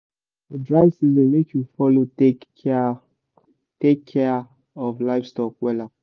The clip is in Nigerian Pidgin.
for dry season make u follow take kia take kia of livestock wella